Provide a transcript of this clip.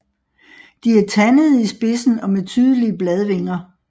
De er tandede i spidsen og med tydelige bladvinger